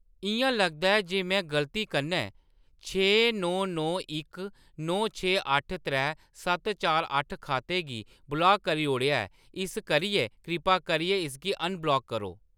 इ'यां लगदा ऐ जे में गलती कन्नै छे नौ नौ इक नौ छे अट्ठ त्रै सत्त चार अट्ठ खाते गी ब्लाक करी ओड़ेआ ऐ, इस करियै कृपा करियै इसगी अनब्लाक करो।